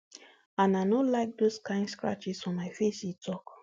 and i no like dose kain scratches for my face e tok